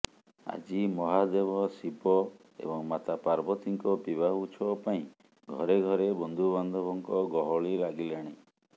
ଆଜି ମହାଦେବ ଶିବ ଏବଂ ମାତା ପାର୍ବତୀଙ୍କ ବିବାହ ଉତ୍ସବ ପାଇଁ ଘରେ ଘରେ ବନ୍ଧୁବାନ୍ଧବଙ୍କ ଗହଳି ଲାଗିଲାଣି